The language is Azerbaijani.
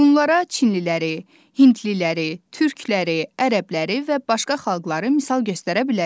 Bunlara çinliləri, hindliləri, türkləri, ərəbləri və başqa xalqları misal göstərə bilərik.